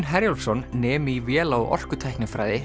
Herjólfsson nemi í véla og